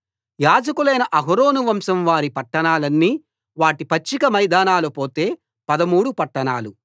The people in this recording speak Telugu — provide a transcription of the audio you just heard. యాజకులైన అహరోను వంశం వారి పట్టణాలన్నీ వాటి పచ్చిక మైదానాలు పోతే పదమూడు పట్టణాలు